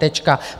Tečka.